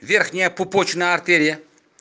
верхняя пупочная артерия